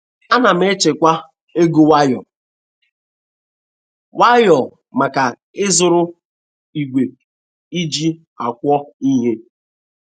Ana m echekwa ego nwayọ nwayọ maka ịzụrụ igwe eji akwọ ihe